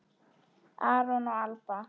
Aron og Alba.